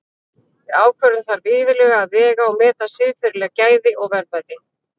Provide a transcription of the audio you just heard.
Við ákvörðun þarf iðulega að vega og meta siðferðileg gæði og verðmæti.